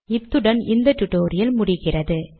இத்துடன் இந்த டுடோரியல் முடிகிறது